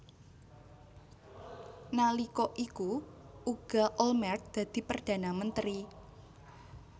Nalika iku uga Olmert dadi Perdana Menteri